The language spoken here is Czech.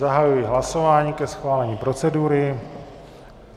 Zahajuji hlasování ke schválení procedury.